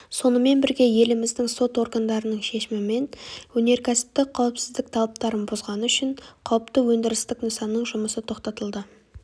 сонымен бірге еліміздің сот органдарының шешімімен өнеркәсіптік қауіпсіздік талаптарын бұзғаны үшін қауіпті өндірістік нысанның жұмысы тоқтатылды